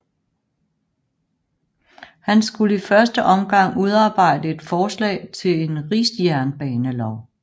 Han skulle i første omgang udarbejde et forslag til en rigsjernbanelov